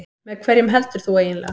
Með hverjum heldur þú eiginlega?